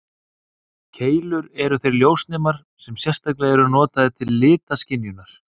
Keilur eru þeir ljósnemar sem sérstaklega eru notaðir til litaskynjunar.